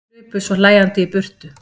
Hlupu svo hlæjandi í burtu.